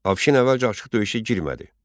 Afşin əvvəlcə açıq döyüşə girmədi.